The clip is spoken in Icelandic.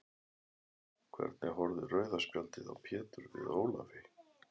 Hvernig horfði rauða spjaldið á Pétur við Ólafi?